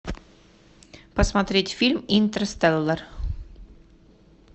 посмотреть фильм интерстеллар